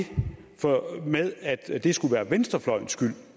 med at det skulle være venstrefløjens skylden